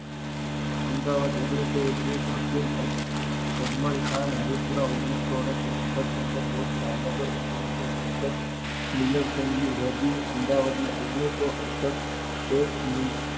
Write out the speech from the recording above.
અમદાવાદ ઓગણીસો એકવીસ હકીમ અબ અજમાલખાન હરિ પુરા ઓગણીસો આડત્રીસ સુભાસ ચંદ્ર બોઝ ભાવનગર ઓગણીસો એકષ્ઠ મિનરસમજી રડી અમદાવાદ માં ઓગણીસો અડસઠ એક મીન